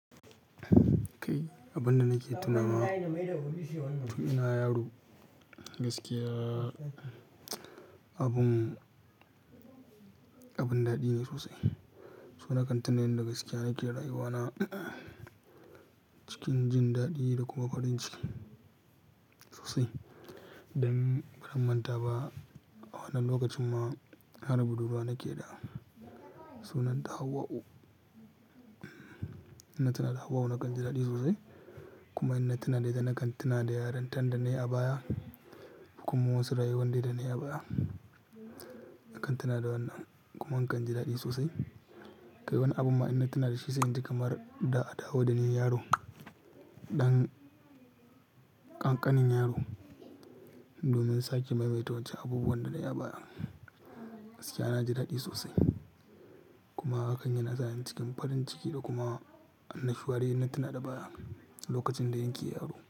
Kai abunda nake tunawa, tun ina yaro gaskiya abun, abun daɗi ne sosai. So na kan tina yan da gaskiya nake rayuwana cikin jin daɗi da kuma farin ciki sosai. Dan ban manta ba a wani lokacin ma har budurwa nake da sunanta Hauwa'u. Ina tuna da Hauwa'u nakan ji daɗi sosai kuma inna tuna da ita, nakan tuna da yarontan da nayi baya kuma wasu rayuwan da nayi a baya. Nakan tuna da wannan kuma nakan ji daɗi sosai. Kai wani abu ma ina tuna da shi sai in ji kamar da adawo dani yaro, ɗan ƙanƙanin yaro. Domin sake maimaita wancan abubuwan da na yi baya gaskiya na ji daɗi sosai. Kuma hakan yana sa ni cikin fari ciki da kuma annashiwa dai inna tuna da baya lokacin da nake yaro.